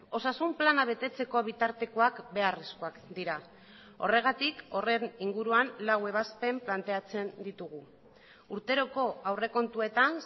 osasun plana betetzeko bitartekoak beharrezkoak dira horregatik horren inguruan lau ebazpen planteatzen ditugu urteroko aurrekontuetan